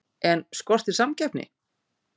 En skortir samkeppni?